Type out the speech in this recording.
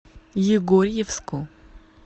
егорьевску